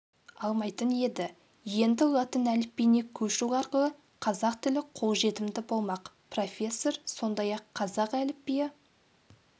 алмайтын еді енді латын әліпбиіне көшу арқылы қазақ тілі қолжетімді болмақ профессор сондай-ақ қазақ әліпбиі